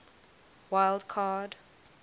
wild card